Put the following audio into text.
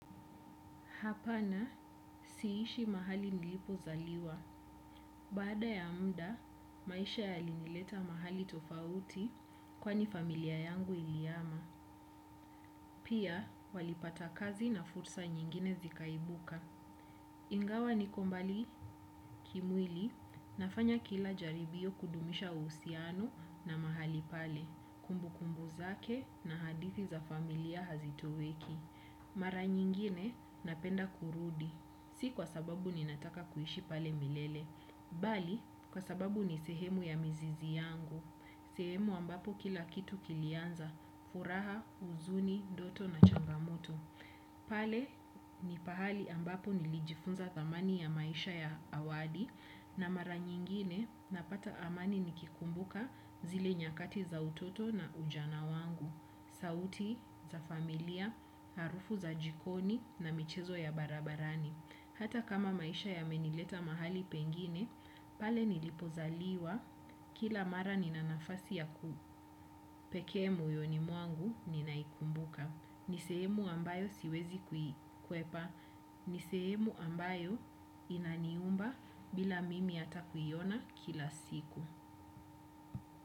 Hapana, siishi mahali nilipozaliwa. Baada ya muda maisha yalinileta mahali tofauti kwani familia yangu ilihama. Pia, walipata kazi na fursa nyingine zikaibuka. Ingawa niko mbali kimwili nafanya kila jaribio kudumisha uhusiano na mahali pale, kumbu kumbu zake na hadithi za familia hazitoweki. Mara nyingine napenda kurudi, si kwa sababu ninataka kuishi pale milele. Bali, kwa sababu ni sehemu ya mizizi yangu sehemu ambapo kila kitu kilianza, furaha, huzuni, ndoto na changamoto. Pale, ni pahali ambapo nilijifunza thamani ya maisha ya awali. Na mara nyingine napata amani nikikumbuka zile nyakati za utoto na ujana wangu sauti za familia harufu za jikoni na michezo ya barabarani hata kama maisha yamenileta mahali pengine pale nilipozaliwa kila mara nina nafasi pekee moyoni mwangu ninaikumbuka ni sehemu ambayo siwezi kuikwepa ni sehemu ambayo inaniumba bila ata Mimi kuiona kila siku.